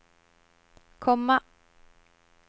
komma